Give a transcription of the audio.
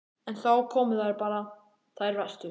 En þá komu þær bara, þær verstu.